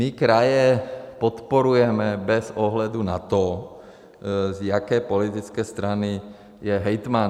My kraje podporujeme bez ohledu na to, z jaké politické strany je hejtman.